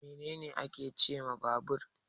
Me ne ne ake cewa babur?